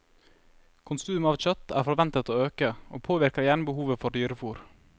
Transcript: Konsumet av kjøtt er forventet å øke, og påvirker igjen behovet for dyrefôr.